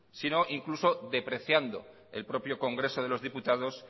sino incluso depreciando el propio congreso de los diputados